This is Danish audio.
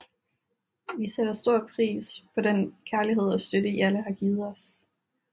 Vi sætter stor pris på den kærlighed og støtte i alle har givet os